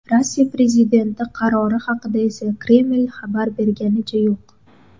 Rossiya prezidenti qarori haqida esa Kreml xabar berganicha yo‘q.